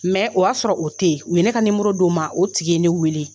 o y'a sɔrɔ o tɛ yen u ye ne ka d'o ma o tigi ye ne wele